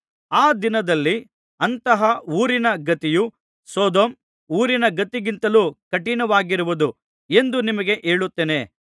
ಆ ದಿನದಲ್ಲಿ ಅಂತಹ ಊರಿನ ಗತಿಯು ಸೊದೋಮ್ ಊರಿನ ಗತಿಗಿಂತಲೂ ಕಠಿಣವಾಗಿರುವುದು ಎಂದು ನಿಮಗೆ ಹೇಳುತ್ತೇನೆ